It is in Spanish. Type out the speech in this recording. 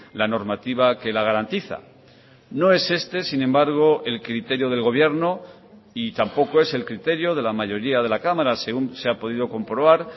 la normativa que la garantiza no es este sin embargo el criterio del gobierno y tampoco es el criterio de la mayoría de la cámara según se ha podido comprobar